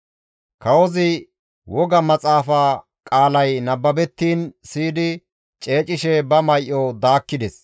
Kawozi woga maxaafa qaalay nababettiin siyidi ceecishe ba may7o daakkides;